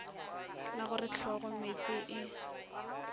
la go re hlogomeetse e